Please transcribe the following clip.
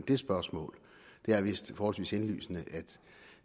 det spørgsmål det er vist forholdsvis indlysende at